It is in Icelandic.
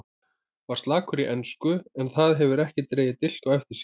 Var slakur í ensku en það hefur ekki dregið dilk á eftir sér.